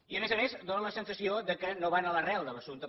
i a més a més fa la sensació que no van a l’arrel de l’assumpte